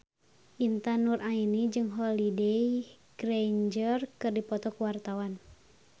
Intan Nuraini jeung Holliday Grainger keur dipoto ku wartawan